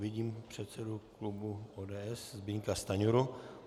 Vidím předsedu klubu ODS Zbyňka Stanjuru.